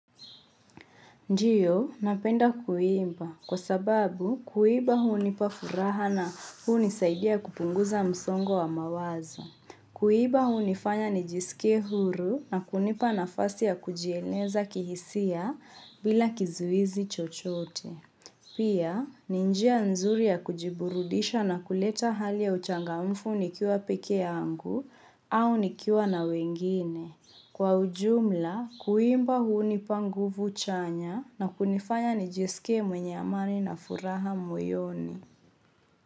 Ndiyo, napenda kuimba kwa sababu kuimba hunipa furaha na hunisaidia kupunguza msongo wa mawazo. Kuimba hunifanya nijisike huru na kunipa nafasi ya kujieleza kihisia bila kizuizi chochote. Pia, ni njia nzuri ya kujiburudisha na kuleta hali ya uchangamfu nikiwa peke yangu au nikiwa na wengine. Kwa ujumla, kuimba hunipa nguvu chanya na kunifanya nijisikie mwenye amani na furaha moyoni.